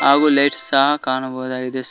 ಹಾಗು ಲೈಟ್ಸ್ ಸಹ ಕಾಣಬಹುದಾಗಿದೆ ಸ--